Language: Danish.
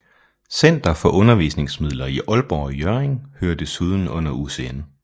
Center for Undervisningsmidler i Aalborg og Hjørring hører desuden under UCN